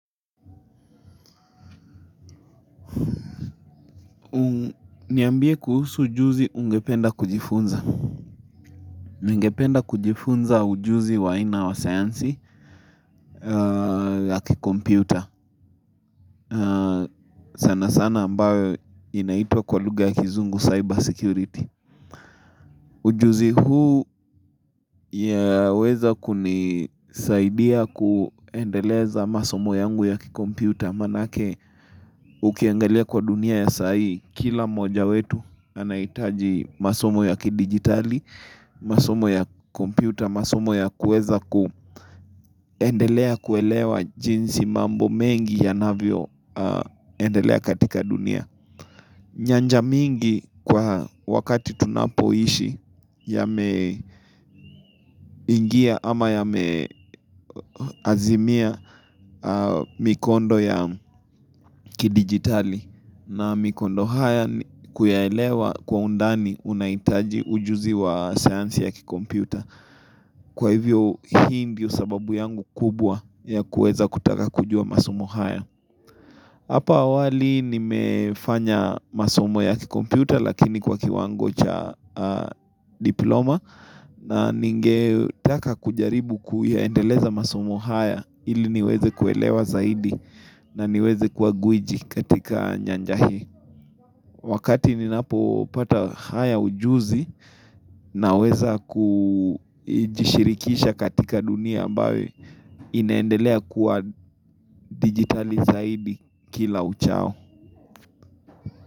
Niambie kuhusu ujuzi ungependa kujifunza ningependa kujifunza ujuzi wa ina wa sayansi ya kikompyuta sana sana ambayo inaitwa kwa lugha ya kizungu cyber security Ujuzi huu yaweza kunisaidia kuendeleza masomo yangu ya kikompyuta Manake ukiangalia kwa dunia ya sai, kila moja wetu anahitaji masomo ya kidigitali, masomo ya kompyuta, masomo ya kueza kuelewa jinsi mambo mengi yanavyo endelea katika dunia. Nyanja mingi kwa wakati tunapoishi yame ingia ama yame azimia mikondo ya kidigitali na mikondo haya kuyaelewa kwa undani unaitaji ujuzi wa sayansi ya kikompyuta. Kwa hivyo hii ndio sababu yangu kubwa ya kueza kutaka kujua masomo haya. Hapa awali nimefanya masomo ya kikompyuta lakini kwa kiwango cha diploma na ningetaka kujaribu kuyaendeleza masomo haya ili niweze kuelewa zaidi na niweze kuagwiji katika nyanjahi. Wakati ninapo pata haya ujuzi naweza kujishirikisha katika dunia baye inaendelea kuwa digitali zaidi kila uchao.